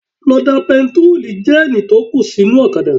Lọ da epo bẹntiróò jẹ́ẹ̀nì tó kù sí inú ọ̀kadà